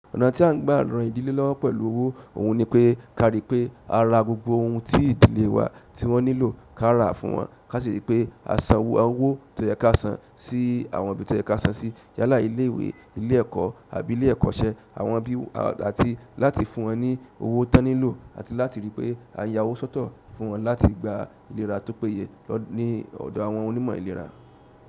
Ọ̀nà tí à ń gbà rán ìdílé lọ́wọ́ pẹ̀lú owó òun ni pé ká rí pé a ra gbogbo ohun tí ìdílé wa tí wọ́n nílò ká rà fún wọn. Kasi ripe a sanwó ti o ye ka san si àwọn ibi ti oye ka san si. Yálà ilé ìwé, ilé ẹ̀kọ́ àbí ilé ẹ̀kọ́ṣẹ́ àwọn bí àti láti fún wọn ní owó tí wọ́n nílò àti láti rí pé a yá owó sọ́tọ̀ fún wọn láti gba ìlera tó péye lọ ní ọ̀dọ̀ àwọn onímọ̀ ìlera.